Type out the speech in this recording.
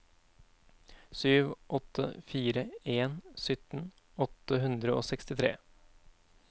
sju åtte fire en sytten åtte hundre og sekstitre